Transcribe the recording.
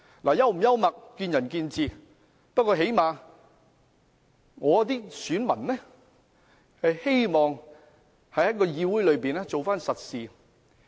是否幽默見仁見智，不過最低限度我的選民希望我在議會做實事。